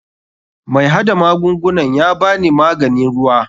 MAi hada magungunan yabani mahganin ruwa.